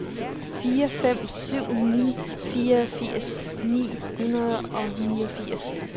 fire fem syv ni fireogfirs ni hundrede og niogfirs